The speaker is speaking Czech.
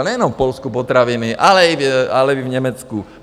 A nejenom v Polsku potraviny, ale i v Německu?